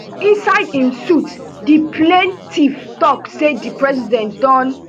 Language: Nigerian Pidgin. inside im suit di plaintiff tok say di president don